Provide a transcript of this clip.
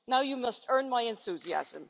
Now you must earn my enthusiasm.